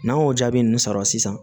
N'an y'o jaabi nunnu sɔrɔ sisan